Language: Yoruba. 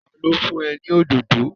Ta ló fún ẹ ní òdòdó?